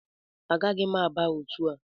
Agaghị m aba otu a